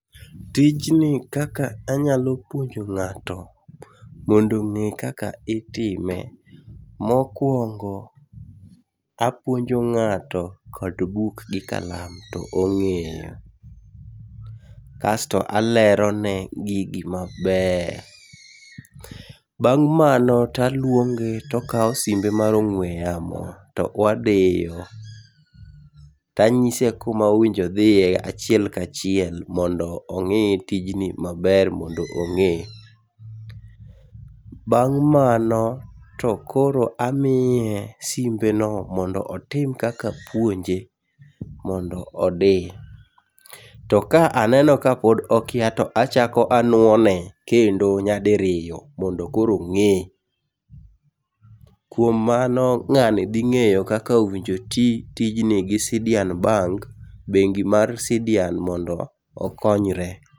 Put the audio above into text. Tijni kaka amnyalo puonjo ng'ato mondo ong'e kaka itime, mokuongo apuonjo ng'ato kod buk gi kalam to ong'eyo. Kas to alerone gigi maber. Bang' to aluonge to okawo simbe mar ong'ue yamo, to wadiyo. To anyise kuma owinjo odhiye achiel kachiel mondo ong'i tijni maber mondo ong'e. Bang' mano to koro amiye simbeno mondo apuonje mondo odi. To ka aneno ka pod okia to achako anuo ne kendo nyadiriyo mondo koro ong'e. Kuom mano ng'ani dhi ng'eyo kaka owinjo oti tijni gi Sidian Bank , bengi mar Sidian mondo okonyre.